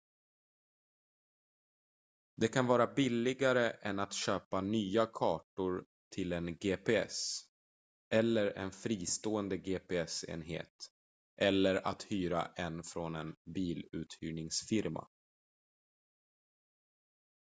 det kan vara billigare än att köpa nya kartor till en gps eller en fristående gps-enhet eller att hyra en från en biluthyrningsfirma